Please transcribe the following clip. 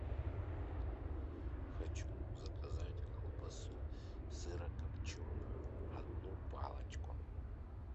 хочу заказать колбасу сырокопченую одну палочку